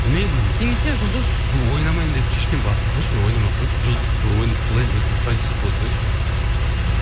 мен немесе жұлдыз ойнамайын деп шешкенмін басында қойшы мен ойнамай ақ қояйыншы жұлдызды ойната салайын деп мен продюссер бола салайыншы ыыы